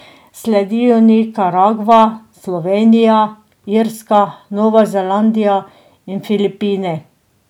Sledijo Nikaragva, Slovenija, Irska, Nova Zelandija in Filipini.